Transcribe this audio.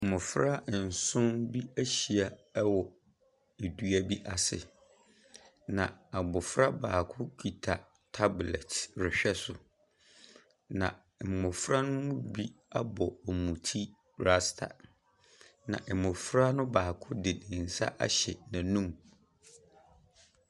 Mmɔfra nson bi ahyia wɔ dua bi ase, na abɔfra baako kita tablet rehwɛ so. Na mmɔfra ne mu bi abɔ wɔn ti rasta, na mmɔfra ne mu baako de ne nsa ahyɛ n’anum.